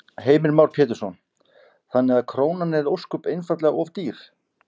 Heimir Már Pétursson: Þannig að krónan er ósköp einfaldlega of dýr?